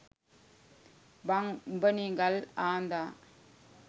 බං උඹනෙ ගල් ආඳා